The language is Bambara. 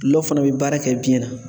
Guɔ fana bɛ baara kɛ biyɛn na.